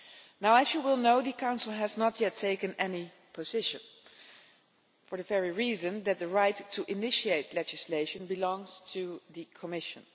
Now, as you will know, the Council has not yet taken any position, for the very reason that the right to initiate legislation belongs to the Commission.